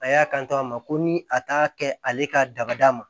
A y'a kan to a ma ko ni a t'a kɛ ale ka dabada ma